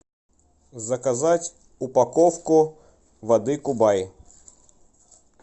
заказать упаковку воды кубай